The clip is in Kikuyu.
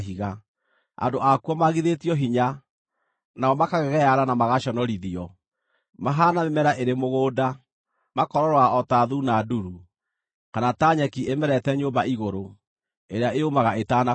Andũ akuo maagithĩtio hinya, nao makagegeare na magaconorithio. Mahaana mĩmera ĩrĩ mũgũnda, makoororoa o ta thuuna nduru, kana ta nyeki ĩmerete nyũmba igũrũ, ĩrĩa yũmaga ĩtanakũra.